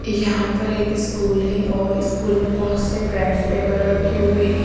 यहाँ पर एक स्कूल है और स्कूल में बहोत से बेंच टेबल रखे हुए हैं।